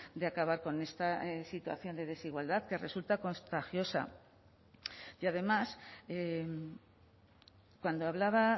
de acabar con esta situación de desigualdad que resulta contagiosa y además cuando hablaba